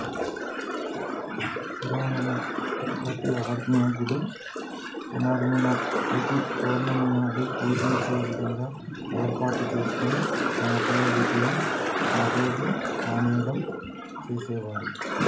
సూరమ్మను ప్రతీ అమావాస్యనాడు పున్నమ్మను ప్రతీ పౌర్ణమినాడు పూజించే విదముగా ఏర్పాటు చేసుకొని తమ కులవృత్తిని ఆరోజు మానేయడం చేసేవారు